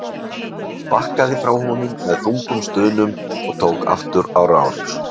Bakkaði frá honum með þungum stunum og tók aftur á rás.